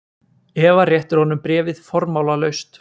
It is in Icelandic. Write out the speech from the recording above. Eva réttir honum bréfið formálalaust.